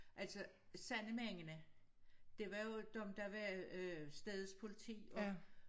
Altså sandemændene det var jo dem der var øh stedets politi og